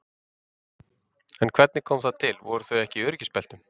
En hvernig kom það til, voru þau ekki í öryggisbeltum?